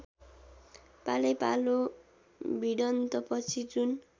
पालैपालो भिडन्तपछि जुन